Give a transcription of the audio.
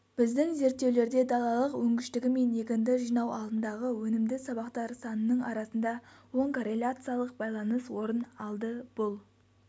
біздің зерттеулерде далалық өнгіштігі мен егінді жинау алдындағы өнімді сабақтар санының арасында оң корреляциялық байланыс орын алды бұл